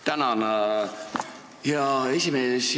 Tänan, hea esimees!